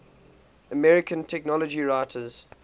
american technology writers